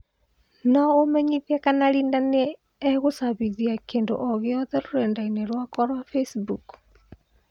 No ũmenyĩthĩe kana Linda nĩe ngũcambithia kîndũ o gĩothe rũredainĩ rwakwa rwa Facebook